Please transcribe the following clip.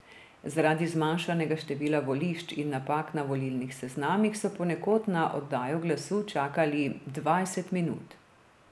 Zaradi zmanjšanega števila volišč in napak na volilnih seznamih so ponekod na oddajo glasu čakali dvajset minut.